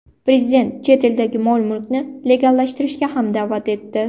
Prezident chet eldagi mol-mulkni legallashtirishga ham da’vat etdi.